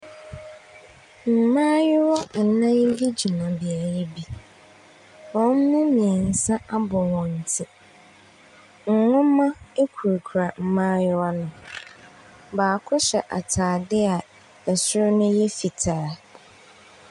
Mmaayewa nnan bi gyina beaeɛ bi. Wɔn mu mmiɛnsa abɔ wɔn ti. Nnwoma kurakura mmaayewa no. baako hyɛ ataadeɛ a ɛsoro no yɛ fitaa.